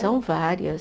São várias.